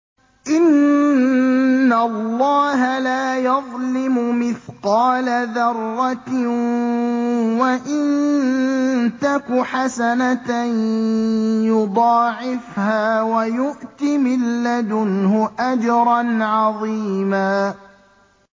إِنَّ اللَّهَ لَا يَظْلِمُ مِثْقَالَ ذَرَّةٍ ۖ وَإِن تَكُ حَسَنَةً يُضَاعِفْهَا وَيُؤْتِ مِن لَّدُنْهُ أَجْرًا عَظِيمًا